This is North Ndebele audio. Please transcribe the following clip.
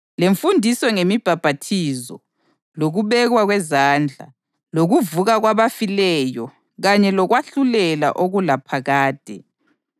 lemfundiso ngemibhaphathizo, lokubekwa kwezandla, lokuvuka kwabafileyo kanye lokwahlulelwa okulaphakade.